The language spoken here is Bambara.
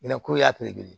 I n'a ko yati kelen